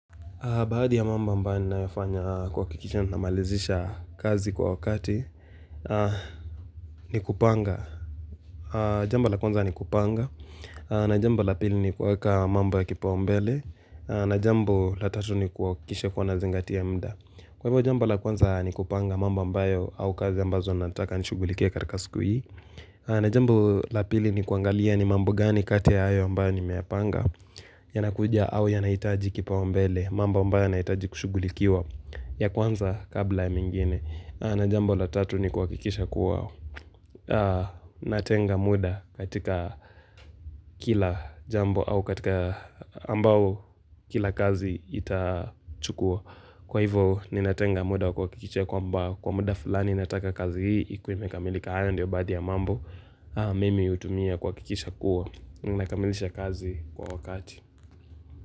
Baadhi ya mambo ambayo ninayoyafanya kuhakikisha namalizisha kazi kwa wakati, ni kupanga. Jambo la kwanza ni kupanga, na jambo la pili nikuweka mambo ya kipaumbele, na jambu la tatu ni kuhakikisha kuwa nazingati ya muda. Kwa hivyo jambo la kwanza ni kupanga mambo ambayo au kazi ambazo nataka nishughulikie katika siku hii. Na jambo la pili ni kuangalia ni mambo gani kati ya hayo ambayo nimeyapanga. Yanakuja au yanaitaji kipaumbele mambo ambayo yanahitaji kushugulikiwa ya kwanza kabla ya mingine na jambo la tatu ni kuhakikisha kuwa natenga muda katika kila jambo au katika ambao kila kazi itachukua kwa hivyo ninatenga muda wa kuhakikisha kwamba kwa muda fulani nataka kazi hii ikue imekamilika haya ndio baadhi ya mambo mimi hutumia kuhakikisha kuwa nakamilisha kazi kwa wakati.